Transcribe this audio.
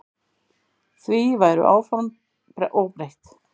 Því væru áform óbreytt.